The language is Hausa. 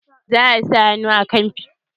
za'a sa hannu akan almara fim dinnan wani shekara.